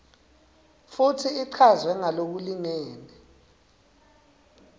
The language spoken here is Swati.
futsi ichazwe ngalokulingene